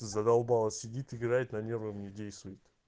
задолбала сидит играет на нервы не действует